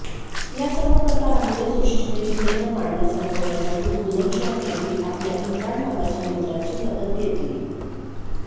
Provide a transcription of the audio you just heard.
या सर्व प्रकारामुळे सृष्टीने जितेंद्र मानला संपवण्यासाठी बुलंदशहरमधील आपल्या इम्रान नावाच्या मित्राची मदत घेतली